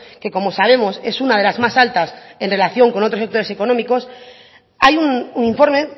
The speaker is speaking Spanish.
que como sabemos es una de las más altas en relación con otros sectores económicos hay un informe